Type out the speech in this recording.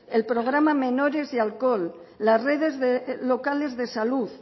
el programa menores y alcohol las redes locales de salud